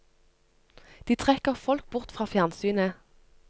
De trekker folk bort fra fjernsynet.